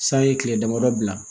San ye kile damadɔ bila